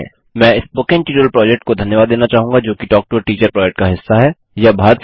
मैं spoken tutorial project को धन्यवाद देना चाहूँगा जोकि talk to a teacher project का हिस्सा है